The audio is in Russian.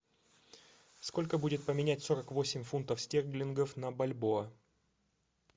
сколько будет поменять сорок восемь фунтов стерлингов на бальбоа